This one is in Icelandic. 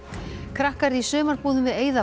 krakkar í sumarbúðum við